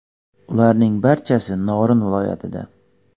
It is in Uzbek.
Ularning barchasi Norin viloyatida.